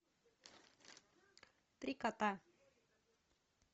три кота